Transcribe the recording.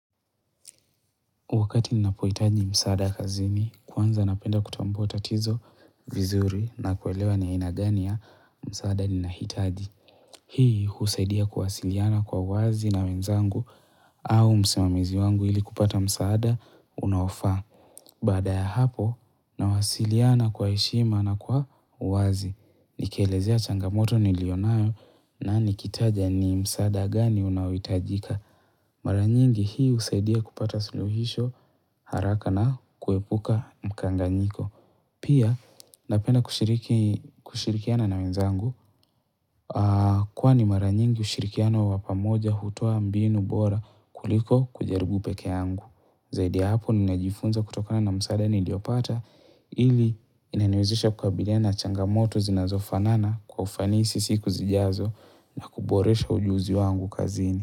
Wakati ninapohitaji msaada kazini, kwanza napenda kutambua tatizo vizuri na kuelewa ni aina gani ya msaada ninahitaji. Hii husaidia kuwasiliana kwa wazi na wenzangu au msimamizi wangu ili kupata msaada unaofaa. Baada ya hapo, nawasiliana kwa heshima na kwa uwazi. Nikielezea changamoto nilionayo na nikitaja ni msaada gani unaohitajika. Mara nyingi hii husaidia kupata suluhisho haraka na kuepuka mkanganyiko Pia napenda kushirikiana na wenzangu Kwani mara nyingi ushirikiana wa pamoja hutoa mbinu bora kuliko kujaribu peke yangu Zaidi ya hapo ninajifunza kutokana na msaada niliopata ili inaniwezisha kukabiliana na changamoto zinazofanana kwa ufanisi siku zijazo na kuboresha ujuzi wangu kazini.